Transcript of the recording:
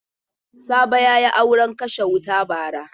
Sabo ya yi auren kashe wuta bara.